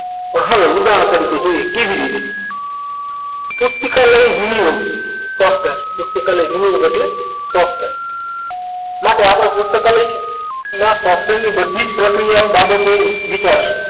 હવે ઉદાહરણ તરીકે જોઈએ કેવી રીતે પુસ્તિકા level view software એટલે software માટે આપણે પુસ્તકાલય ના software ની બધી જ પ્રક્રિયા બાબતે વિચારશું